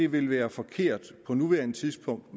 ville være forkert på nuværende tidspunkt